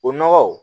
O nɔgɔ